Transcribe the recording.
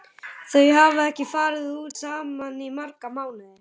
Þau hafa ekki farið út saman í marga mánuði.